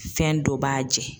Fɛn dɔ b'a jɛn